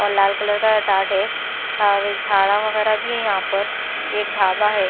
और लाल कलर का टाट है और झाड़ा वगैरह भी है यहाँ पर एक धाबा है।